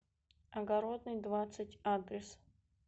огородный двадцать адрес